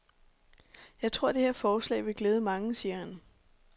Jeg tror, det her forslag vil glæde mange, siger han.